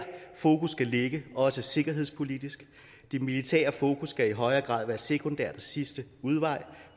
fokus skal ligge også sikkerhedspolitisk det militære fokus skal i højere grad være sekundært og sidste udvej